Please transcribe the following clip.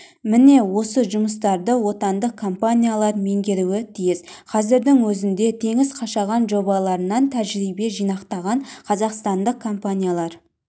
міне осы жұмыстарды отандық компаниялар меңгеруі тиіс қазірдің өзінде теңіз қашаған жобаларынан тәжірибе жинақатаған қазақстандық компаниялар